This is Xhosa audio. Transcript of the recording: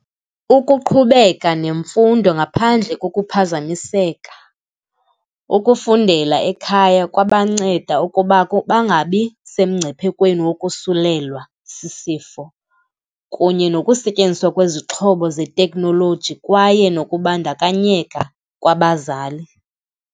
Ukuqhubeka nemfundo ngaphandle kokuphazamiseka, ukufundela ekhaya kwangabanceda ukuba bangabi semngciphekweni wokusulelwa sisifo kunye nokusetyenziswa kwezixhobo zeteknoloji kwaye nakubandakanyeka kwabazali.